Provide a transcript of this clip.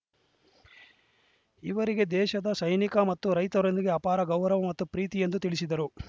ಇವರಿಗೆ ದೇಶದ ಸೈನಿಕ ಮತ್ತು ರೈತರೊಂದಿಗೆ ಅಪಾರ ಗೌರವ ಮತ್ತು ಪ್ರೀತಿ ಎಂದು ತಿಳಿಸಿದರು